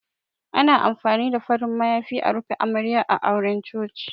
Ana amfani da farin mayafi a rufe Amarya a auren Coci.